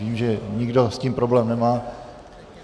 Vidím, že nikdo s tím problém nemá.